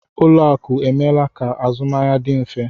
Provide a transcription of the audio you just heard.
Ụlọakụ emeela ka azụmahịa dị mfe